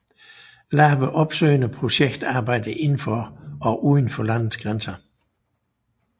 Laver opsøgende projekt arbejde inden for og uden for landets grænser